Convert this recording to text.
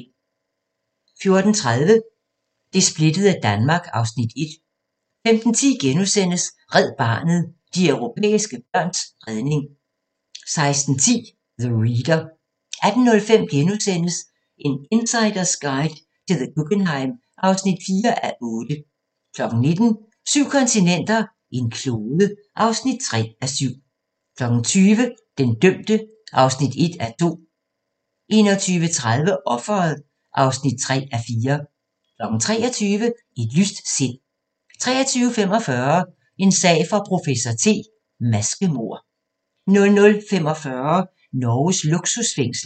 14:30: Det splittede Danmark (Afs. 1) 15:10: Red Barnet – de europæiske børns redning * 16:10: The Reader 18:05: En insiders guide til The Guggenheim (4:8)* 19:00: Syv kontinenter, en klode (3:7) 20:00: Den dømte (1:2) 21:30: Offeret (3:4) 23:00: Et lyst sind 23:45: En sag for professor T: Maskemord 00:45: Norges luksusfængsel